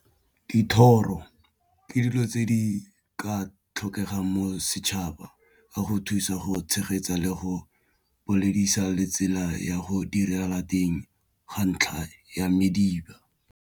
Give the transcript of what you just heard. Dithoro ke dilo tse di ka tlhokegang mo setšhaba ka go thusa go tshegetsa le go boledisa le tsela ya go direla teng ga ntlha ya mediba.